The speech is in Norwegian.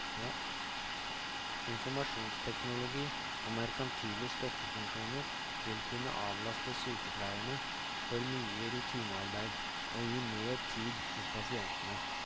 Informasjonsteknologi og merkantile støttefunksjoner vil kunne avlaste sykepleierne for mye rutinearbeid og gi mer tid hos pasientene.